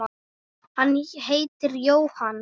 Hann heitir Jóhann